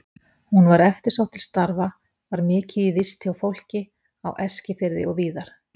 Hún var eftirsótt til starfa, var mikið í vist hjá fólki á Eskifirði og víðar.